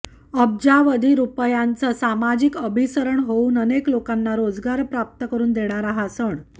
अब्जावधी रुपयांचं सामाजिक अभिसरण होऊन अनेक लोकांना रोजगार प्राप्त करून देणारा हा सण